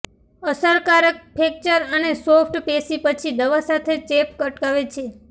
અસરકારક ફ્રેક્ચર અને સોફ્ટ પેશી પછી દવા સાથે ચેપ અટકાવે છે